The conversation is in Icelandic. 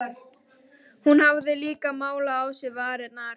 Hún hafði líka málað á sér varirnar.